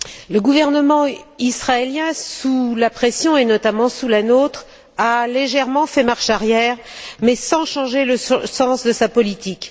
Le gouvernement israélien, sous la pression et notamment sous la nôtre a légèrement fait marche arrière mais sans changer le sens de sa politique.